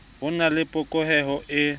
ho na le phokotseho e